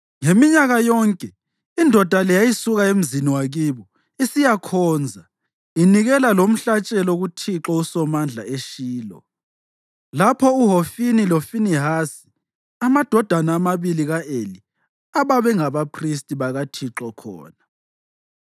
Ngeminyaka yonke indoda le yayisuka emzini wakibo isiyakhonza, inikela lomhlatshelo kuThixo uSomandla eShilo, lapho uHofini loFinehasi, amadodana amabili ka-Eli, ababengabaphristi bakaThixo khona.